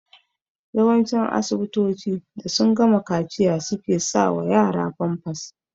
Yawancin asibitoci da sun gama kaciya suke sa wa yara famfas